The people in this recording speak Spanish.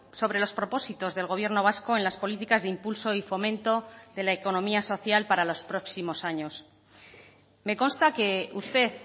sobre los propósitos del gobierno vasco en las políticas de impulso y fomento de la economía social para los próximos años me consta que usted